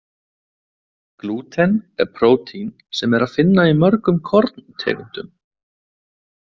Glúten er prótín sem er að finna í mörgum korntegundum.